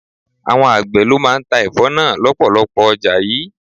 Àwọn àgbè ló máa ń ta Ẹ̀fọ́ náà lọpọlọpọ ọjà yìí.